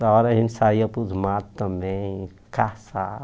Da hora a gente saía para os matos também,